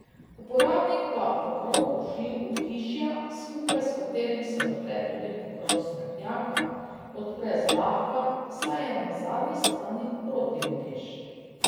Uporabnik pa pokrov ohišja, skupaj s katerim se odpre tudi pokrov smetnjaka, odpre zlahka, saj je na zadnji strani protiutež.